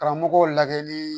Karamɔgɔw lagɛli